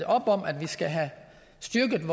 op om at vi skal have styrket